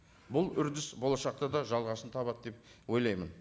бұл үрдіс болашақта да жалғасын табады деп ойлаймын